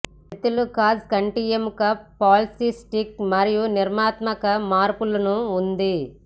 తిత్తులు cause కంటి ఎముక polycystic మరియు నిర్మాణాత్మక మార్పులను ఉంది